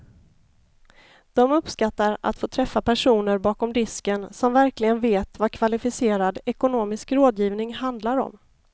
De uppskattar att få träffa personer bakom disken som verkligen vet vad kvalificerad ekonomisk rådgivning handlar om.